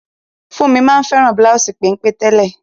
Funmi ma n fẹ́ràn bláùsì pénpé tẹ́lẹ̀.